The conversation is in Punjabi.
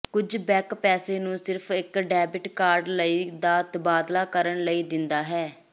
ਕੁਝ ਬਕ ਪੈਸੇ ਨੂੰ ਸਿਰਫ਼ ਇੱਕ ਡੈਬਿਟ ਕਾਰਡ ਲਈ ਦਾ ਤਬਾਦਲਾ ਕਰਨ ਲਈ ਦਿੰਦਾ ਹੈ